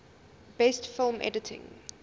best film editing